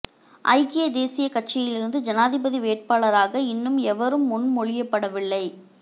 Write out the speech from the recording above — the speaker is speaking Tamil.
ஐக்கிய தேசியக் கட்சியிலிருந்து ஜனாதிபதி வேட்பாளராக இன்னும் எவரும் முன்மொழியப்படவில்லை